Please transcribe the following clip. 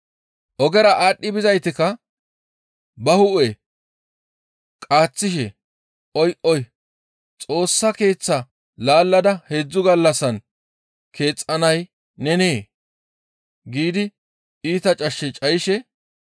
Ogera aadhdhi bizaytikka ba hu7e qaaththishe, «Oy! Oy! Xoossa Keeththaa laallada heedzdzu gallassan keexxanay nenee?» giidi iita cashshe cayishe,